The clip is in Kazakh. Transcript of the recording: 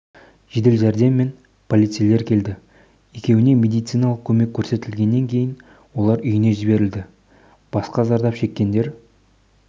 жедел жәрдем мен полицейлер келді екеуіне медициналық көмек көрсетілгеннен кейін олар үйіне жіберілді басқа зардап шеккендер